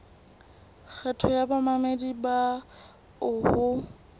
kgetho ya bamamedi bao ho